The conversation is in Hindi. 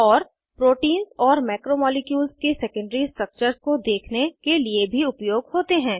और प्रोटीन्स और मैक्रोमॉलिक्यूल्स के सेकेंडरी स्ट्रक्चर्स को देखने के लिए भी उपयोग होते हैं